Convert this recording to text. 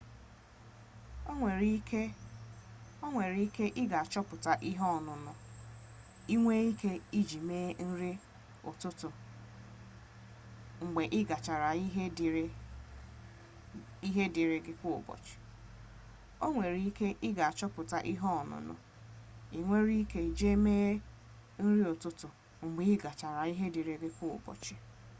o nwere ike i ga-achọpụta ihe ọṅụṅụ i nwere ike iji mee nri ụtụtụ mgbe ị gachara ihe dịịrị gị kwa ụbọchị